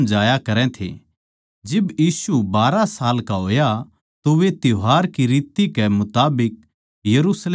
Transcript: जिब यीशु बारहां साल का होया तो वे त्यौहार की रित कै मुताबिक यरुशलेम नगर म्ह गए